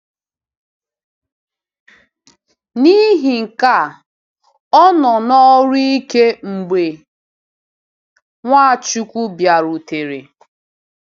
N’ihi nke a, ọ nọ n’ọrụ ike mgbe Nwachukwu bịarutere.